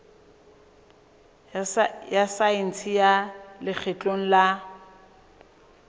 ya saense ya lekgotleng la